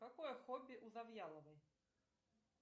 какое хобби у завьяловой